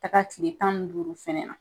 taka tile tan ni duuru fɛnɛ na.